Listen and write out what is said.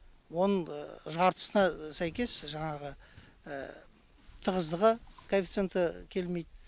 оның жартысына сәйкес жаңағы тығыздығы коэффициенті келмейді